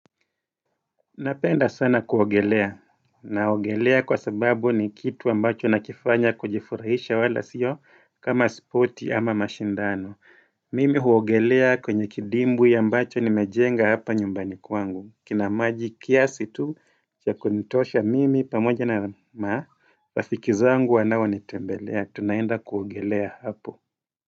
Napenda sana kuogelea. Naogelea kwa sababu ni kitu ambacho nakifanya kujifurahisha wala sio kama spoti ama mashindano. Mimi huogelea kwenye kidimbi ambacho nimejenga hapa nyumbani kwangu. Kina maji kiasi tu chakunitosha mimi pamoja na ma. Rafiki zangu wanao nitembelea. Tunaenda kuogelea hapo.